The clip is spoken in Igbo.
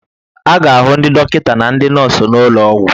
A ga-ahụ ndị dọkịta na ndị nọọsụ n'ụlọ ọgwụ